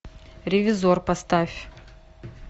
ревизор поставь